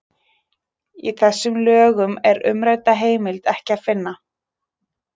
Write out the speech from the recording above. Í þessum lögum er umrædda heimild ekki að finna.